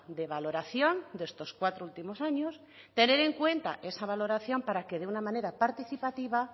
de valoración de estos cuatro últimos años tener en cuenta esa valoración para que de una manera participativa